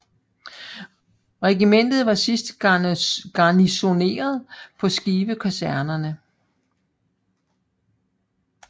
Regimentet var sidst garnisoneret på Skive Kaserne